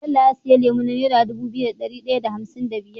Bello ya siyo lemo na naira Dubu biyu da dari daya da hamsin da biyar